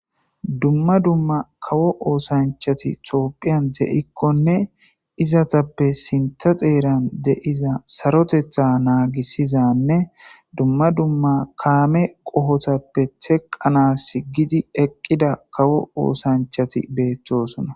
Dumma dumma kawo ossanchathi thophiyan de'kkone izzatha sintha xeran de'zza sarothetha nagisizanne dumma dumma kamme qohothappe teqanasi gidi eqida kawo ossanchathi bethossona.